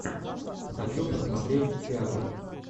хочу посмотреть театр